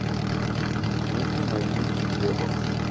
дмитрий наильевич глебов